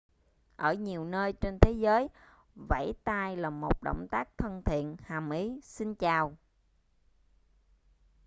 ở nhiều nơi trên thế giới vẫy tay là động tác thân thiện hàm ý xin chào